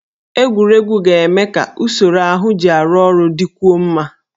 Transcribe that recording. Egwuregwu ga-eme ka usoro ahụ ji arụ ọrụ dịkwuo mma